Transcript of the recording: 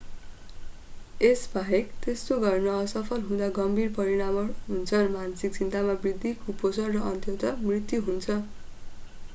यसबाहेक त्यस्तो गर्न असफल हुँदा गम्भीर परिणामहरू हुन्छन् मानसिक चिन्तामा वृद्धि कुपोषण र अन्ततः मृत्यु हुन्छ